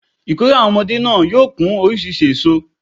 Ìkórè àwon omodé náà yóò kún orísirísi èso